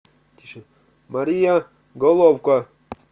мария головко